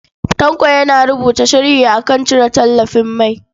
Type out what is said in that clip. Tanko yana rubuta sharhi a kan cire tallafin mai.